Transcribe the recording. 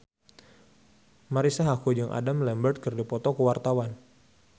Marisa Haque jeung Adam Lambert keur dipoto ku wartawan